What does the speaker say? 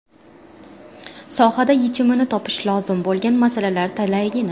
Sohada yechimini topishi lozim bo‘lgan masalalar talaygina.